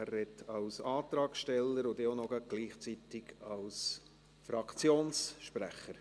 Er spricht als Antragsteller und gleichzeitig gerade auch noch als Fraktionssprecher.